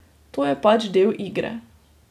To je pač del igre.